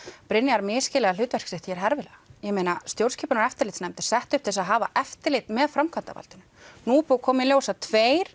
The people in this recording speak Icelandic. Brynjar misskilja hlutverk sitt hér herfilega ég meina stjórnskipunar og eftirlitsnefnd er sett upp til að hafa eftirlit með framkvæmdavaldinu nú er búið að koma í ljós að tveir